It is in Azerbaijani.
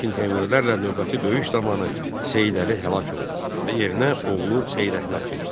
Lakin Teymurilərlə növbəti döyüş zamanı Seyid Əli həlak oldu və yerinə oğlu Seyid Əhməd keçdi.